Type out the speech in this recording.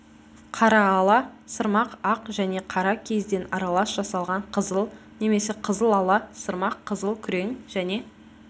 қараала сырмақ ақ және қара киізден аралас жасалған қызыл немесе қызылала сырмақ қызыл күрең және